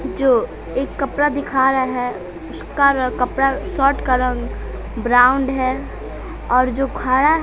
जो एक कपरा दिखा रहा है उसका र कपरा शॉट का रंग ब्राउनड है और जो खारा --